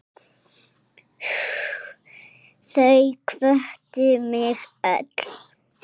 Þau hvöttu mig öll.